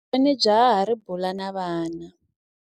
Hi vone jaha ri bula na vana.